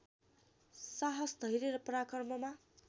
साहस धैर्य र पराक्रममा